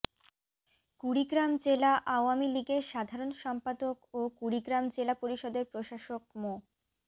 কুড়িগ্রাম জেলা আওয়ামী লীগের সাধারণ সম্পাদক ও কুড়িগ্রাম জেলা পরিষদের প্রশাসক মো